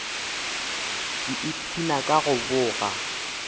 ke ipshina ka go boga